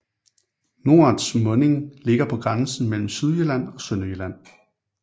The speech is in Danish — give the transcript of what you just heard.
Norets munding ligger på grænsen mellem Sydjylland og Sønderjylland